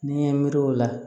N'i ye miiri o la